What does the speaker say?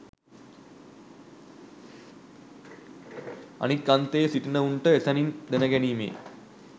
අනෙක් අන්තයේ සිටින්නවුන්ට එසැනින් දැන ගැනීමේ